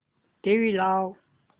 TV लाव